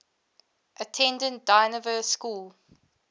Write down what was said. attended dynevor school